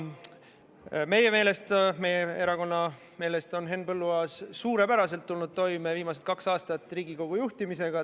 Meie erakonna meelest on Henn Põlluaas suurepäraselt tulnud toime Riigikogu juhtimisega viimasel kahel aastal.